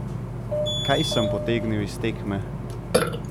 Kaj sem potegnil iz tekme?